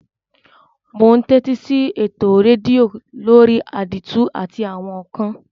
Mo n tẹ́tísí eto redio lórí àdìtú àti àwon ékán